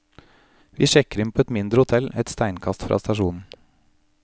Vi sjekker inn på et mindre hotell et steinkast fra stasjonen.